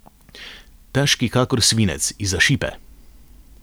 Težki kakor svinec, izza šipe.